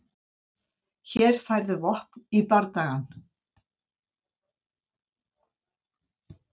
Hér færðu vopn í bardagann.